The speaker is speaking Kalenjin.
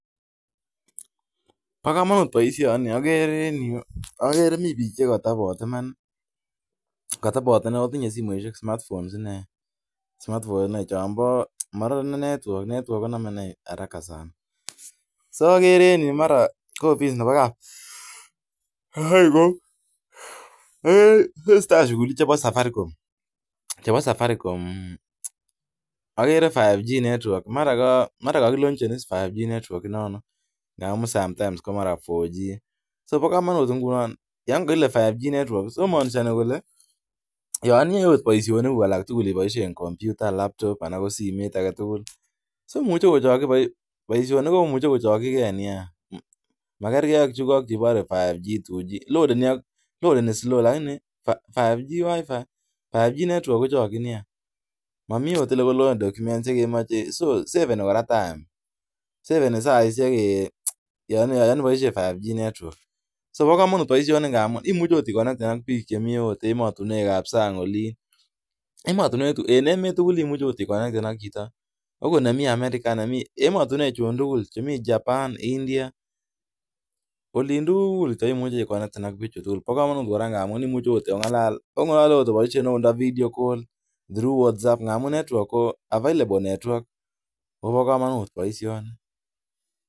Pa kamanut baisioni. Agere mi piik che kago tabat, ak tinye simoishek smartphones che name network haraka sana . Tesetai shughuli chebo safaricom. Mara mae ke launch 5G nerekek. Yan kile 5G network en simoit anan ko laptop, muche ko chokchin baisionik.